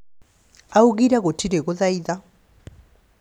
augire gutiri guthaitha